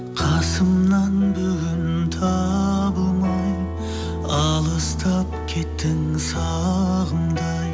қасымнан бүгін табылмай алыстап кеттің сағымдай